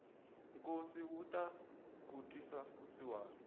nkosi wu tala ku twisa vusiwana